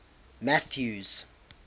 mathews